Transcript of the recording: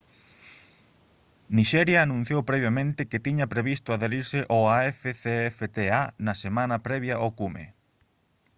nixeria anunciou previamente que tiña previsto adherise ao afcfta na semana previa ao cume